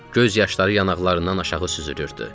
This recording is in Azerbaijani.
Göz yaşları yanaqlarından aşağı süzülürdü.